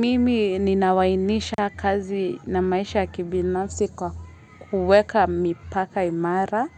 Mimi ninawainisha kazi na maisha ya kibinafsi kwa kuweka mipaka imara.